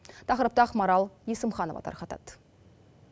тақырыпты ақмарал есімханова тарқатады